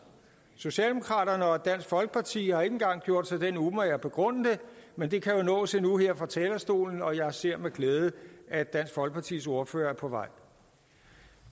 socialdemokraterne og dansk folkeparti har ikke engang gjort sig den umage at begrunde det men det kan jo nås endnu her fra talerstolen og jeg ser med glæde at dansk folkepartis ordfører er på vej